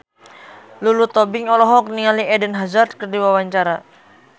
Lulu Tobing olohok ningali Eden Hazard keur diwawancara